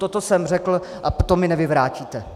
Toto jsem řekl a to mi nevyvrátíte.